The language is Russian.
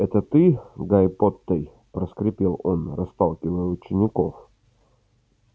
эй ты гайи поттей проскрипел он расталкивая учеников